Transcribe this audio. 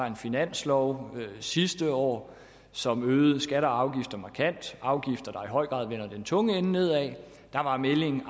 en finanslov sidste år som øgede skatter og afgifter markant afgifter der i høj grad vender den tunge ende nedad der var meldingen